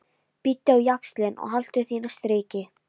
Bíttu á jaxlinn og haltu þínu striki.